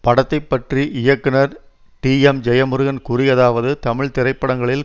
படத்தை பற்றி இயக்குனர் டிஎம்ஜெயமுருகன் கூறியதாவது தமிழ் திரைப்படங்களில்